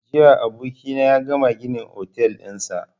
Jiya abokina ya gama gina otel ɗinsa